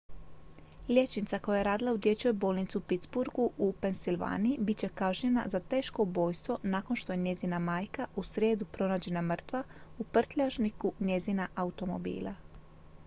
liječnica koji je radila u dječjoj bolnici u pittsburgu u pennsylvaniji bit će kažnjena za teško ubojstvo nakon što je njezina majka u srijedu pronađena mrtva u prljažniku njezina automobila